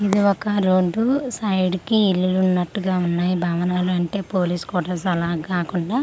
ఇది ఒక road side కి ఇల్లులు ఉన్నటుగా ఉన్నాయి భవనాలు అంటే పోలీస్ క్వటర్స్ అలా కాకుండా ఇది వేరే.